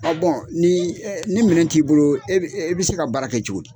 ni ni minɛ t'i bolo e bɛ e bɛ se ka baara kɛ cogo di?